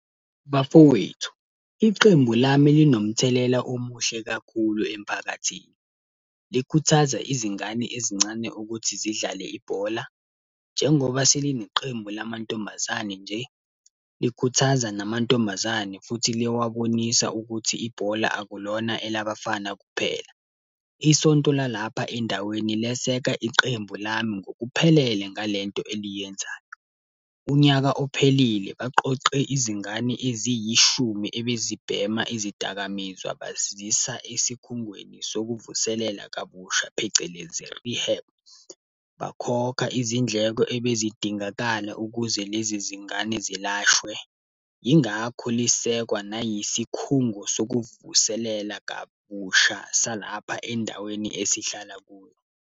Bafowethu, iqembu lami linomthelela omuhle kakhulu emphakathini. Likhuthaza izingane ezincane ukuthi zidlale ibhola. Njengoba selineqembu lamantombazane nje, likhuthaza namantombazane futhi liyawabonisa ukuthi ibhola akulona elabafana kuphela. Isonto la lapha endaweni leseka iqembu lami ngokuphelele ngale nto eliyenzayo. Unyaka ophelile, baqoqe izingane eziyishumi ebezibhema izidakamizwa bazisa esikhungweni sokuvuselela kabusha, phecelezi rehab. Bakhokha izindleko ebezidingakala ukuze lezi zingane zilashwe. Yingakho lisekwa nayisikhungo sokuvuselela kabusha salapha endaweni esihlala kuyo.